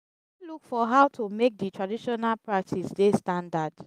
we fit look for how to make di traditional practice dey standard